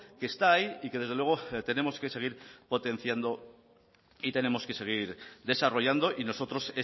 que está ahí y que desde luego tenemos que seguir potenciando y tenemos que seguir desarrollando y nosotros